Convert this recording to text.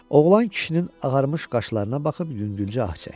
Oğlan kişinin ağarmış qaşlarına baxıb yüngülcə ah çəkdi.